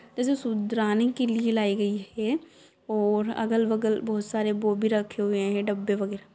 जिसे सुधराने के लिए लाई गई है और अगल-बगल बहुत सारे वो भी रखे हुए हैं डब्बे वगेरा।